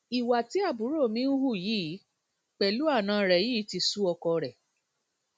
ìwà tí àbúrò mi ń hù yìí pẹlú àna rẹ yìí ti sú ọkọ rẹ